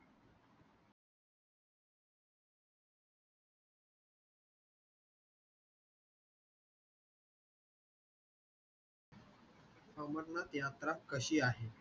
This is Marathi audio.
अमरनाथ यात्रा कशी आहे?